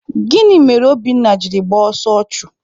Gịnị mere Obinna jiri gbaa ọsọ ọchụ?